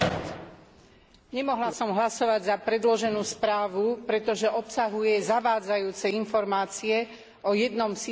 Nemohla som hlasovať za predloženú správu, pretože obsahuje zavádzajúce informácie o jednom sídle Parlamentu.